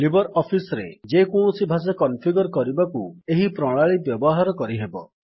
Libre office ରେ ଯେକୌଣସି ଭାଷା କନଫିଗର୍ କରିବାକୁ ଏହି ପ୍ରଣାଳୀ ବ୍ୟବହାର କରିହେବ